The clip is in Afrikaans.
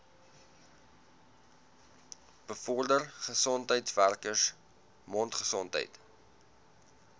bevorder gesondheidswerkers mondgesondheid